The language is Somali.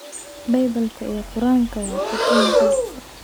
Baybalka iyo Quraankuba waa kutub muqadas ah.